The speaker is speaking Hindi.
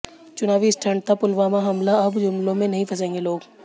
चुनावी स्टंट था पुलवामा हमला अब जुमलों में नहीं फंसेंगे लोग